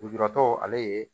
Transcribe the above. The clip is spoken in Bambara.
Lujuratɔ ale ye